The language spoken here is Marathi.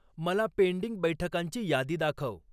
मला पेंडिंग बैठकांची यादी दाखव